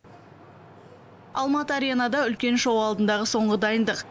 алматы аренада үлкен шоу алдындағы соңғы дайындық